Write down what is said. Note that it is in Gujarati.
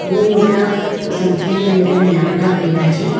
બહુ મોટા સંખ્યાની અંદર લાકડા પયડા છે.